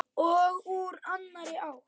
Og úr annarri átt.